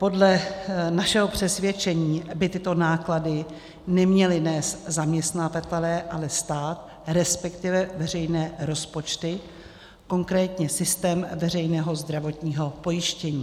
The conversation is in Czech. Podle našeho přesvědčení by tyto náklady neměli nést zaměstnavatelé, ale stát, respektive veřejné rozpočty, konkrétně systém veřejného zdravotního pojištění.